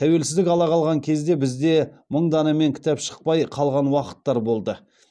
тәуелсіздік ала қалған кезде бізде мың данамен кітап шықпай қалған уақыттар болды